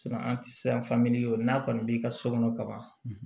an ti se o n'a kɔni b'i ka so kɔnɔ ka ban